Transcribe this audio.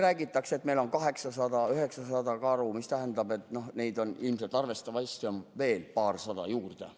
Räägitakse, et meil on 800–900 karu, mis tähendab, et neid on arvatavasti veel paarsada rohkemgi.